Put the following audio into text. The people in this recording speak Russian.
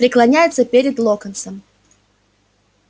преклоняется перед локонсом